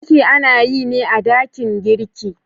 Girki ana yi ne a dakin girki.